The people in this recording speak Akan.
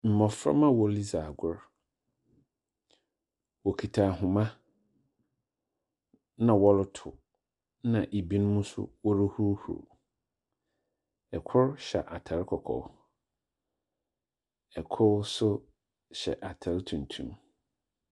Mbofamba a woridzi agor wokita ahoma na wɔrotow na binom so woruhuruhurw, kr hyɛ atar kɔkɔɔ, kor so hyɛ atar tuntum.